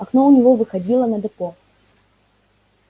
окно у него выходило на депо